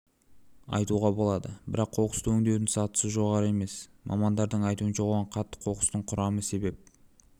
айтуға болады бірақ қоқысты өндеудің сатысы жоғары емес мамандардың айтуынша оған қатты қоқыстың құрамы себеп